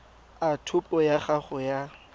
a topo ya gago ya